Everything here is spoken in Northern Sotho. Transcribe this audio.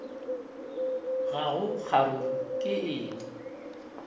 ga go kgaruru ke eng